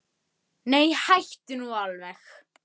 Hann hét Ulrich.